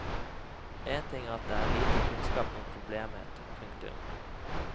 En ting er at det er lite kunnskap om problemet. punktum